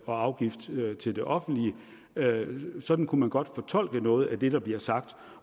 og afgifter til det offentlige sådan kunne man godt fortolke noget af det der bliver sagt